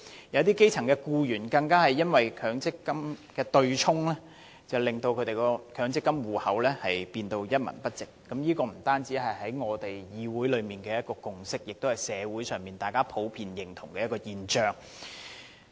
有一些基層的僱員更因為對沖機制，令他們的強積金戶口的款項剩餘無幾。這不僅是立法會內的共識，同樣是社會上大家普遍認同的現象。